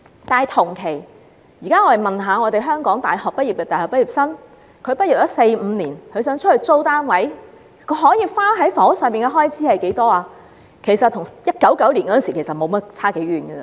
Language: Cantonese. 但是，假如我們現在問問香港的大學畢業生，在畢業四五年後若想在外租住單位，他們有能力花費多少在房屋開支，他們的答案其實與1999年時相差無幾。